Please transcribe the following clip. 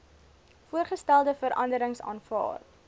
voorgestelde veranderings aanvaar